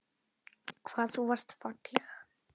Hvað þú varst falleg.